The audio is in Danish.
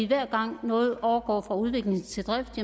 hver gang noget overgår fra udvikling til drift